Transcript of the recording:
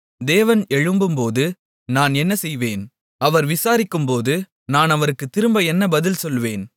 தேவன் எழும்பும்போது நான் என்ன செய்வேன் அவர் விசாரிக்கும்போது நான் அவருக்கு திரும்ப என்ன பதில் சொல்லுவேன்